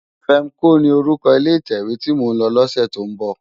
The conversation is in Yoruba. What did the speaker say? Fèmkó ni órúkò ilé itèwé ti mó n lò lòsè tó n bò